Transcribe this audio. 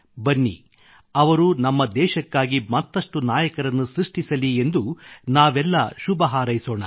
ಬನ್ನಿ ಅವರು ನಮ್ಮ ದೇಶಕ್ಕಾಗಿ ಮತ್ತಷ್ಟು ನಾಯಕರನ್ನು ಸೃಷ್ಟಿಸಲಿ ಎಂದು ನಾವೆಲ್ಲ ಶುಭಹಾರೈಸೋಣ